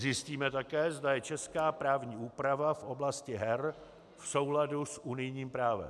Zjistíme také, zda je česká právní úprava v oblasti her v souladu s unijním právem.